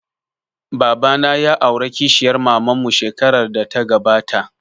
Baba na ya aura kishiyar maman mu shekarar da ta gabata